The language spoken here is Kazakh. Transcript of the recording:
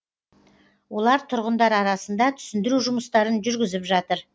олар тұрғындар арасында түсіндіру жұмыстарын жүргізіп жатыр